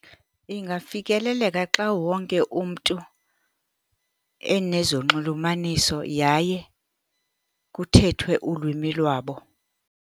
Ingafikeleleka xa wonke umntu enezonxulumaniso, yaye kuthethwe ulwimi lwabo.